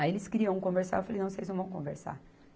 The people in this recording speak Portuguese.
Aí eles queriam conversar, eu falei, não, vocês não vão conversar.